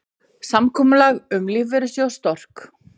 Samkomulag um lífeyrissjóð Stork